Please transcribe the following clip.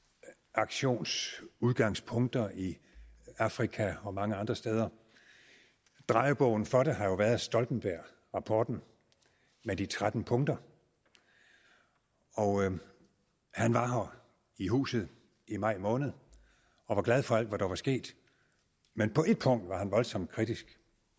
aktionsudgangspunkter i afrika og mange andre steder drejebogen for det har jo været stoltenbergrapporten med de tretten punkter og han var her i huset i maj måned og var glad for alt hvad der var sket men på et punkt var han voldsomt kritisk